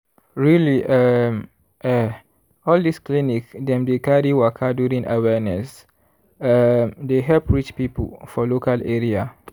really um eh all this clinic dem dey carry waka during awareness um dey help reach people for local area.